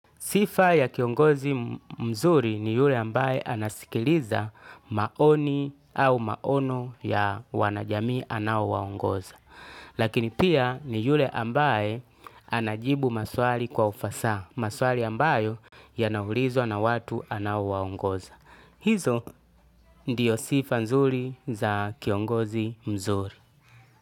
Sifa ya kiongozi mzuri ni yule ambaye anasikiliza maoni au maono ya wanajamii anaowaongoza. Lakini pia ni yule ambaye anajibu maswali kwa ufasaha maswali ambayo yanaulizwa na watu anaowaongoza. Hizo ndiyo sifa nzuri za kiongozi mzuri.